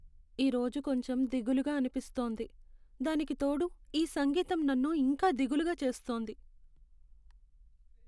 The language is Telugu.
ఈ రోజు కొంచెం దిగులుగా అనిపిస్తోంది, దానికి తోడు ఈ సంగీతం నన్ను ఇంకా దిగులుగా చేస్తోంది.